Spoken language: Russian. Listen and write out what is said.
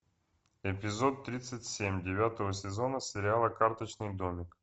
эпизод тридцать семь девятого сезона сериала карточный домик